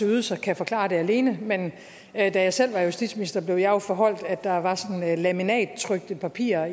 ydelserne kan forklare det alene men da jeg selv var justitsminister blev jeg jo foreholdt at der var laminattrykte papirer